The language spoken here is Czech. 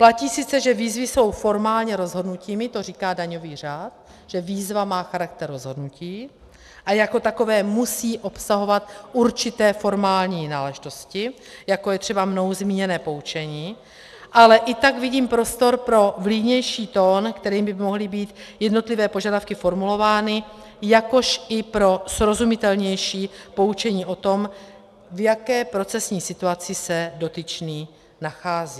Platí sice, že výzvy jsou formálně rozhodnutími, to říká daňový řád, že výzva má charakter rozhodnutí a jako takové musí obsahovat určité formální náležitosti, jako je třeba mnou zmíněné poučení, ale i tak vidím prostor pro vlídnější tón, kterým by mohly být jednotlivé požadavky formulovány, jakož i pro srozumitelnější poučení o tom, v jaké procesní situaci se dotyčný nachází.